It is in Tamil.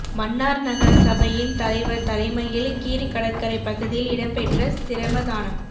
மன்னார் நகர சபையின் தலைவர் தலைமையில் கீரி கடற்கரை பகுதியில் இடம் பெற்ற சிரமதானம்